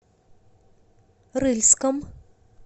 рыльском